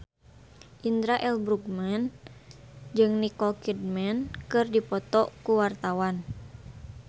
Indra L. Bruggman jeung Nicole Kidman keur dipoto ku wartawan